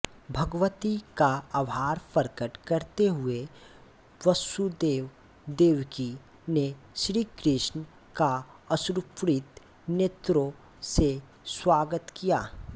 भगवती का आभार प्रकट करते हुए वसुदेवदेवकी ने श्रीकृष्ण का अश्रुपूरित नेत्रों से स्वागत किया